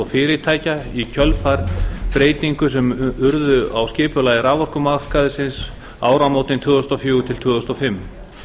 fyrirtækja í kjölfar breytingar sem urðu á skipulagi raforkumarkaðarins um áramótin tvö þúsund og fjögur tvö þúsund og fimm